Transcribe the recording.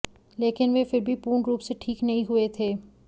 लेकिन वह फिर भी पूर्ण रुप से ठीक नहीं हुए थे